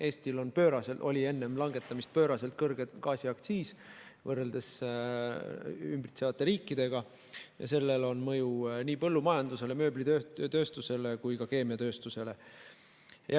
Eestil oli enne langetamist pööraselt kõrge gaasiaktsiis võrreldes meid ümbritsevate riikidega ja sellel aktsiisil on mõju nii põllumajandusele, mööblitööstusele kui ka keemiatööstusele.